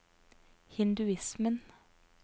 hinduismen